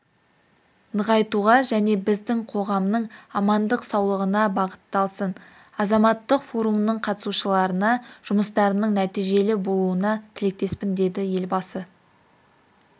нығайтуға және біздің қоғамның амандық-саулығына бағытталсын азаматтық форумның қатысушыларына жұмыстарының нәтижелі болуына тілектеспін деді елбасы